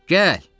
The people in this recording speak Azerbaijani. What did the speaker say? Gəl!